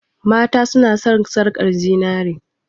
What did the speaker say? mata suna son sarkar zinare